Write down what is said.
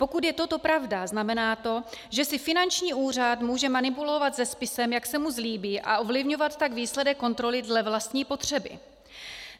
Pokud je toto pravda, znamená to, že si finanční úřad může manipulovat se spisem, jak se mu zlíbí, a ovlivňovat tak výsledek kontroly dle vlastní potřeby.